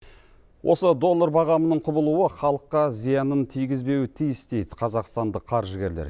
осы доллар бағамының құбылуы халыққа зиянын тигізбеуі тиіс дейді қазақстандық қаржыгерлер